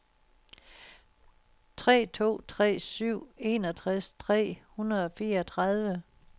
tre to tre syv enogtres tre hundrede og fireogtredive